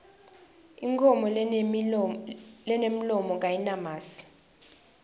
inkhomo lenemlomo kayinamasi